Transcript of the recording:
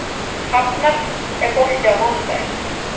Hafnar, er bolti á mánudaginn?